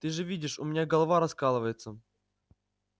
ты же видишь у меня голова раскалывается